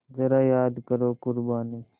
ज़रा याद करो क़ुरबानी